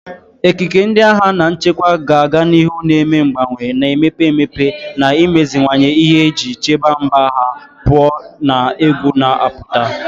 Ekike ndị agha na nchekwa ga-aga n'ihu na-eme mgbanwe, na-emepe emepe, na imeziwanye ihe iji chebe mba ha pụọ na egwu na-apụta.